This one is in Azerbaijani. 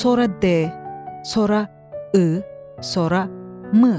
Sonra D, sonra I, sonra M.